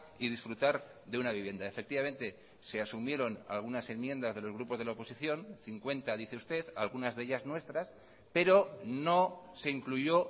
y disfrutar de una vivienda efectivamente se asumieron algunas enmiendas de los grupos de la oposición cincuenta dice usted algunas de ellas nuestras pero no se incluyó